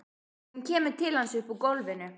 Hún kemur til hans upp úr gólfinu.